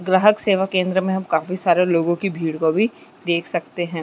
ग्राहक सेवा केंद्र में हम काफी सारी लोगो की भीड़ को भी देख सकते है।